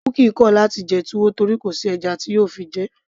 bukky kò láti jẹ túwó torí kò sí ẹja tí yóò fi jẹ ẹ́